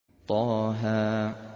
طه